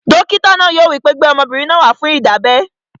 Dókítà náà yóò wí pé, "gbé ọmọbìnrin náà wá fún ìdábẹ́!"